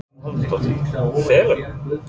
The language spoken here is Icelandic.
Hugrún Halldórsdóttir: Félögum?